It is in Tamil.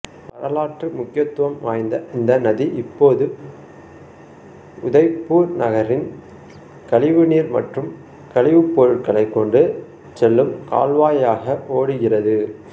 வரலாற்று முக்கியத்துவம் வாய்ந்த இந்த நதி இப்போது உதய்பூர் நகரின் கழிவுநீர் மற்றும் கழிவுப்பொருட்களை கொண்டு செல்லும் கால்வாயாக ஓடுகிறது